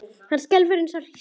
Hann skelfur eins og hrísla.